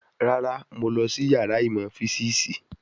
Rárá, mo lọ sí yàrá ìmọ̀ físìsì